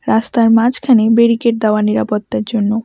রাস্তার মাঝখানে বেরিকেড দেওয়া নিরাপত্তার জন্য।